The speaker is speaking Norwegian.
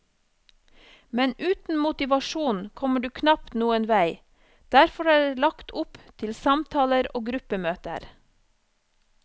Men uten motivasjon kommer du knapt noen vei, derfor er det lagt opp til samtaler og gruppemøter.